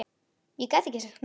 Ég gat ekki sagt nei.